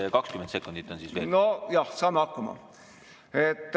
Õhutõrje peab tõepoolest – kuna see on kellegi fetiš siin, paljude fetiš – toimuma süsteemselt, kolmeastmeliselt.